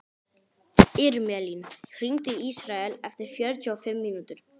Irmelín, hringdu í Ísrael eftir fjörutíu og fimm mínútur.